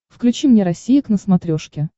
включи мне россия к на смотрешке